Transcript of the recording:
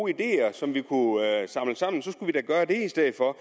ideer som vi kunne samle sammen skulle vi da gøre det i stedet for